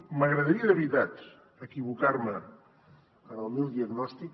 m’agradaria de veritat equivocar me en el meu diagnòstic